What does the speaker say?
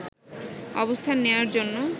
অবস্থান নেওয়ার জন্য